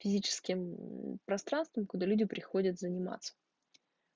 физическим пространством куда люди приходят заниматься